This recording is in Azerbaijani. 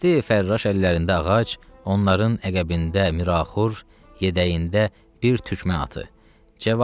Dəsteyi fərraş əllərində ağac, onların əqəbində Miraxur yedəyində bir tükmə atı.